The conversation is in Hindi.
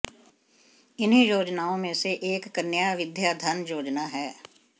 इन्हीं योजनाओं में से एक कन्या विद्याधन योजना है